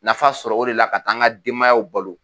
Nafa sɔrɔ o de la ka taa an ka denbayaw balo